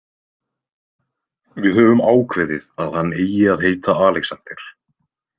Við höfum ákveðið að hann eigi að heita Alexander.